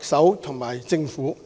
行政長官及政府。